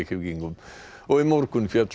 í morgun féll